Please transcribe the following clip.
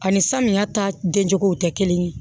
Ani samiya ta den cogo tɛ kelen ye